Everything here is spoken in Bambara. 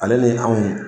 Ale ni anw